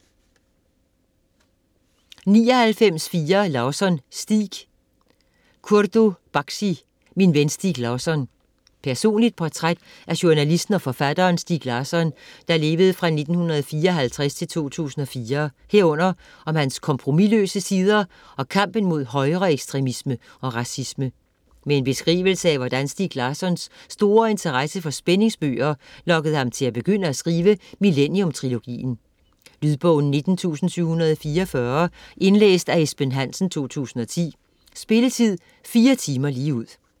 99.4 Larsson, Stieg Baksi, Kurdo: Min ven Stieg Larsson Personligt portræt af journalisten og forfatteren Stieg Larsson (1954-2004) herunder om hans kompromisløse sider og kampen mod højreekstremisme og racisme. Med en beskrivelse af hvordan Stieg Larssons store interesse for spændingsbøger lokkede ham til at begynde at skrive Millennium-trilogien. Lydbog 19744 Indlæst af Esben Hansen, 2010. Spilletid: 4 timer, 0 minutter.